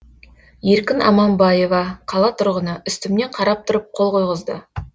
еркін аманбаева қала тұрғыны үстімнен қарап тұрып қол қойғызды